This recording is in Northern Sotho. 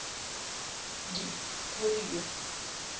di polio